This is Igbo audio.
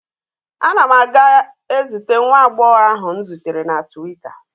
Ana m aga ezute nwa agbọghọ ahụ m zutere na twita.